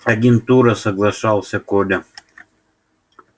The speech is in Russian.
агентура соглашался коля